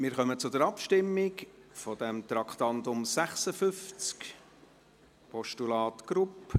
Wir kommen zur Abstimmung über das Traktandum 56, Postulat Grupp.